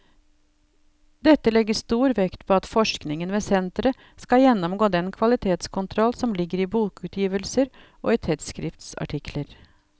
Dette legges stor vekt på at forskningen ved senteret skal gjennomgå den kvalitetskontroll som ligger i bokutgivelser og i tidsskriftsartikler.